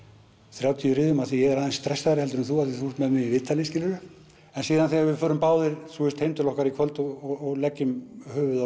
þrjátíu riðum af því að ég er aðeins stressaðri heldur en þú því þú ert með mig í viðtali skilurðu en síðan þegar við förum báðir heim til okkar í kvöld og leggjum höfuðið á